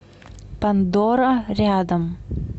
пандора рядом